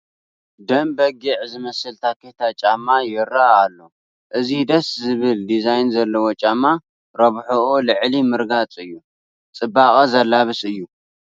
ደም በጊዕ ዝመስል ታኬታ ጫማ ይርአ ኣሎ፡፡ እዚ ደስ ዝብል ዲዛይን ዘለዎ ጫማ ረብሕኡ ልዕሊ ምርጋፅ እዩ፡፡ ፅባቐ ዘላብስ እዩ፡፡